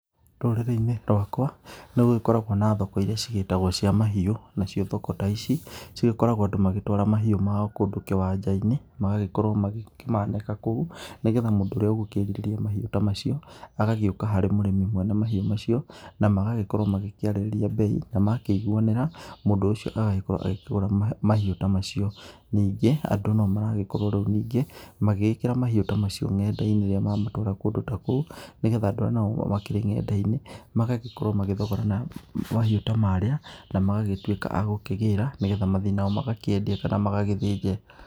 Rũrĩrĩ-inĩ rwakwa nĩ gũgĩkoragwo na thoko irĩa cigĩtagwo cia mahiũ, nacio thoko ta ici cĩgĩkoragwo andũ magĩtwara mahiũ mao kũndũ kĩwanja-inĩ magagĩkorwo magĩkĩmanĩka kũu, nĩgetha mũndũ ũrĩa ũgũkĩrirĩria mahiũ ta macio agagĩoaka harĩ mwene mahiũ macio na magagaĩkorwo makĩarĩrĩria mbei, na makĩiguanĩra mũndũ ũcio agagĩkorwo akĩgũra mahiũ ta macio, ningĩ andũ no maragĩkorwo rĩu ningĩ magĩgĩkĩra mahiũ ta macio nenda-inĩ rĩrĩa mamatwara kũndũ ta kũu, nĩgetha andũ arĩa makĩrĩ nenda-inĩ magagĩkorwo magĩthogorana mahiũ ta marĩa, na magagĩtuĩka a gũkĩgĩra, nĩgetha mathiĩ nao magakĩendie kana magagĩthĩnje.